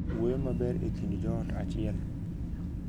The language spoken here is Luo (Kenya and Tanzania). Wuoyo maber e kind joot achiel.